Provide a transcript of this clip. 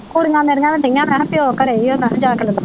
ਕੁੜੀਆਂ ਮੇਰੀਆਂ ਵੀ ਦਈਆ ਮੈ ਕਿਹਾ ਪਿਓ ਘਰੇ ਈਆ ਮੈ ਕਿਹਾ ਜਾ ਕੇ ਲੇਲੋ।